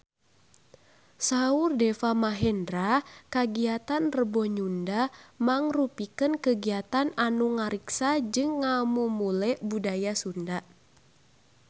Saur Deva Mahendra kagiatan Rebo Nyunda mangrupikeun kagiatan anu ngariksa jeung ngamumule budaya Sunda